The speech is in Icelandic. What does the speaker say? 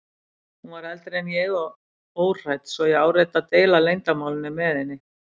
Hún var eldri en ég og óhrædd svo ég áræddi að deila leyndarmálinu með henni.